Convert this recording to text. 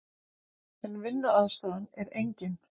En vinnuaðstaðan er engin.